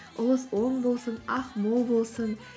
ұлыс оң болсын ақ мол болсын